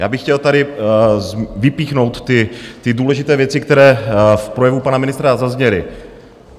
Já bych chtěl tady vypíchnout ty důležité věci, které v projevu pana ministra zazněly.